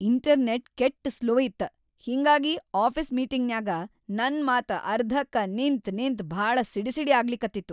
Internet ಕೆಟ್‌ slow ಇತ್ತ ಹಿಂಗಾಗಿ ಆಫೀಸ್‌ ಮೀಟಿಂಗ್‌ನ್ಯಾಗ ನನ್‌ ಮಾತ ಅರ್ಧಕ್ಕ ನಿಂತ್ ನಿಂತ್ ಭಾಳ ಸಿಡಿಸಿಡಿ ಆಗ್ಲಿಕತ್ತಿತ್ತು.